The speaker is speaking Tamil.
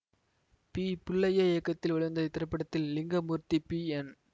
பி புள்ளைய்யா இயக்கத்தில் வெளிவந்த இத்திரைப்படத்தில் லிங்கமூர்த்தி பி என்